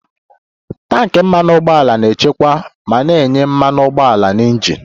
Tanki Mmanụ ụgbọala na-echekwa ma na-enye mmanụ ụgbọala na injin